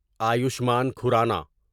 Ayushman Khurrana